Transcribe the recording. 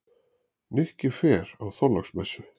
Nikki fer á Þorláksmessu.